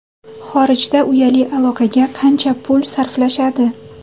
Xorijda uyali aloqaga qancha pul sarflashadi?.